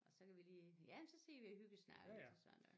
Og så kan vi lige ja så sidder vi og hyggesnakker lidt og sådan noget